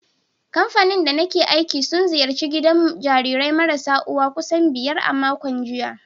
Kamfanin da nake aiki sun ziyarci gidajen jarirai marasa uwa kusan biyar a makon jiya.